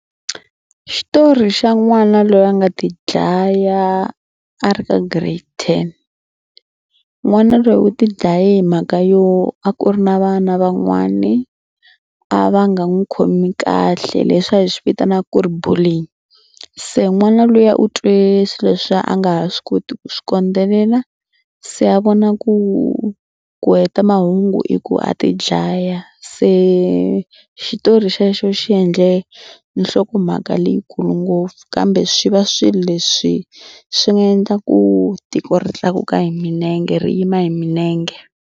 Xitori xa n'wana loyi a nga tidlaya a ri ka giredi ten. N'wana loyi u tidlaye hi mhaka yo a ku ri na vana van'wani a va nga n'wi khomi kahle le swa hi swi vitanaka ku ri bullying. Se n'wana luya u twe swilo leswiya a nga ha swi koti ku swi kondzelela se a vona ku ku heta mahungu i ku a tidlaya. Se xitori xexo xi endle nhlokomhaka leyikulu ngopfu kambe swi va swilo leswi swi nga endla ku tiko ri tlakuka hi milenge ri yima hi milenge.